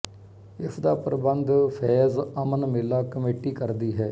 ਇਸਦਾ ਪ੍ਰਬੰਧ ਫ਼ੈਜ਼ ਅਮਨ ਮੇਲਾ ਕਮੇਟੀ ਕਰਦੀ ਹੈ